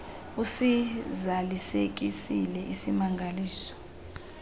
usiza lisekisile isimangali